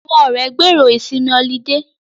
Àwọn ọ̀rẹ́ gbèrò ìsinmi ọlidé